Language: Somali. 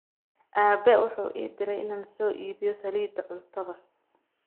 Aabe wuxuu ii diray inaan soo iibiyo saliidda cuntada